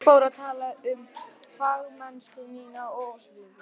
Ég fór að tala um fagmennsku mína og óskeikulleika.